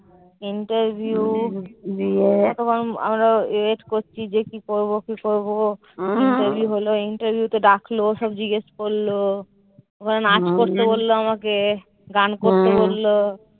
Interview আমরা wait করছি যে, কি করবো? কি করবো? interview হলো interview তে ডাকলো। সব জিজ্ঞেস করলো। ওখানে নাচ করতে বললো আমাকে। গান করতে বললো।